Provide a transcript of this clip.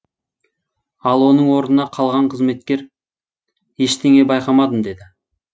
ал оның орнына қалған қызметкер ештеңе байқамадым деді